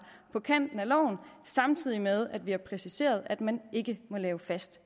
på kant med loven samtidig med at vi har præciseret at man ikke må lave fast